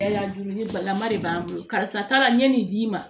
dumuni balima de b'an bolo karisa taara n ye nin d'i ma